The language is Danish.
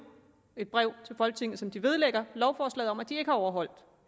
et brev til folketinget som vedlægges lovforslaget om at den ikke har overholdt